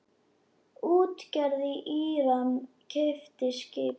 Útgerð í Íran keypti skipið.